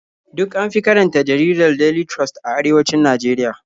Duk an fi karanta jaridar Daily Trust a arewacin Najeriya.